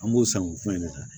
An b'o san k'o fɔ an ɲɛna